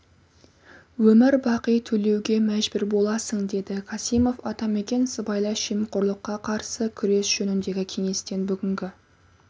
өмір бақи төлеуге мәжбүр боласың деді касимов атамекен сыбайлас жемқорлыққа қарсы күрес жөніндегі кеңестің бүгінгі